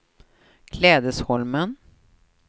Klädesholmen